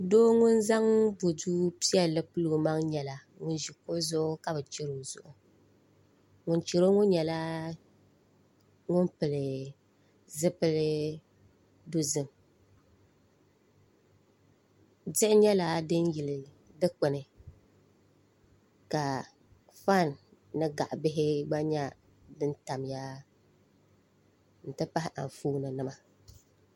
Doo ŋun zaŋ bodu piɛlli pili o maŋ nyɛla ŋun ʒi kuɣu zuɣu ka bi chɛri o zuɣu ŋun chɛro ŋo nyɛla ŋun pili zipili dozim diɣi nyɛla din yili dikpuni ka fan ni gaɣa bihi gba nyɛ din tamya n ti pahi Anfooni nima